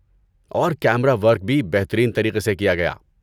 اور camera work بھی بہترین طریقے سے کیا گیا۔